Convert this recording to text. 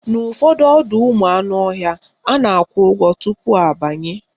N'ụfọdụ ọdọụmụanụọhịa, a na-akwụ ụgwọ tupu abanye